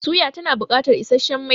Suya tana bukatar isasshen mai